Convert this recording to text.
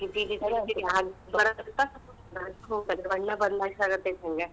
ಗಿಜಿ ಗಿಜಿ ಬಣ್ಣ ಬದಲಿಯಿಸಕ್ಕತ್ತೇತಿ ಹಂಗ.